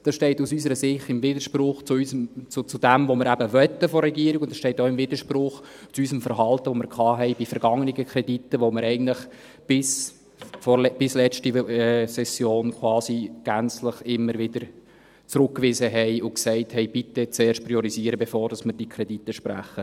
Das steht unserer Ansicht nach in Widerspruch zu dem, was wir eben von der Regierung möchten, und es steht auch in Widerspruch zu unserem Verhalten, das wir bei vergangenen Krediten hatten, bei denen wir eigentlich bis letzte Session gänzlich immer wieder zurückwiesen und sagten: «Bitte zuerst priorisieren, bevor wir diese Kredite sprechen.»